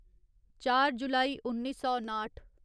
चार जुलाई उन्नी सौ नाठ